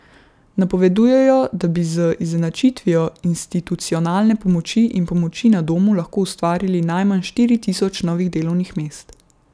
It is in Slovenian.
Napovedujejo, da bi z izenačitvijo institucionalne pomoči in pomoči na domu lahko ustvarili najmanj štiri tisoč novih delovnih mest.